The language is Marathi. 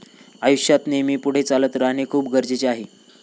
आयुष्यात नेहमी पुढे चालत राहणं खूप गरजेचं आहे.